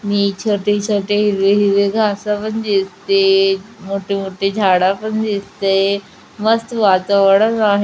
मी छोटे-छोटे हिरवे हिरवे घास पण दिसते मोठी-मोठी झाड़ा पण दिसतेय मस्त वातावरण आहे.